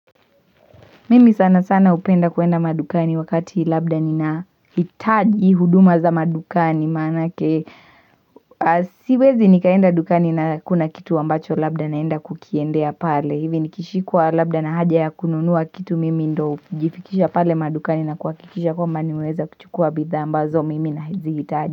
Mimi sana sana hupenda kuenda madukani wakati labda ninahitaji huduma za madukani manake Siwezi nikaenda madukani na kuna kitu ambacho labda naenda kukiendea pale hivi nikishikwa labda na haja ya kununua kitu mimi ndo hujifikisha pale madukani na kuhakikisha kwamba nimeweza kuchukua bidhaa ambazo mimi nahizihitaji.